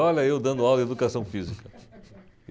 Olha eu dando aula de Educação Física.